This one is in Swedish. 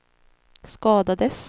skadades